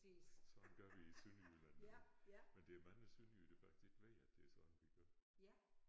Sådan gør vi i Sønderjylland nu men der er mange sønderjyder der faktisk ikke ved at det er sådan vi gør